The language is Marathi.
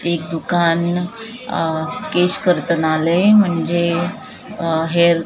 एक दुकान केश कर्तनालय म्हणजे हेअ --